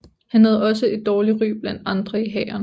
Han havde også et dårligt ry blandt andre i hæren